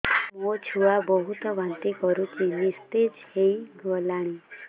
ମୋ ଛୁଆ ବହୁତ୍ ବାନ୍ତି କରୁଛି ନିସ୍ତେଜ ହେଇ ଗଲାନି